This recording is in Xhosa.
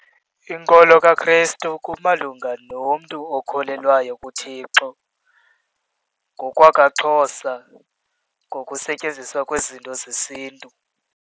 Inkolo kaKrestu kumalunga nomntu okholelwayo kuThixo, ngokwakwaXhosa ngokusetyenziswa kwezinto zesiNtu.